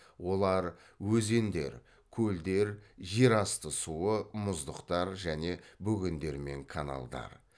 олар өзендер көлдер жер асты суы мұздықтар және бөгендер мен каналдар